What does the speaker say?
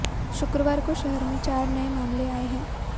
शुक्रवार को शहर में चार नए मामले आए हैं